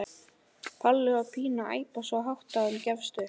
Palli og Pína æpa svo hátt að hún gefst upp.